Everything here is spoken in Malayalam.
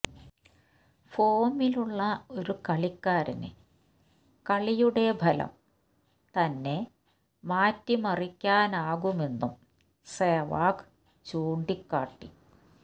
ഫോമിലുള്ള ഒറ്റ കളിക്കാരന് കളിയുടെ ഫലം തന്നെ മാറ്റിമറിക്കാനാകുമെന്നും സേവാഗ് ചൂണ്ടിക്കാട്ടി